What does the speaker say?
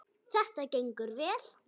Þetta gengur vel.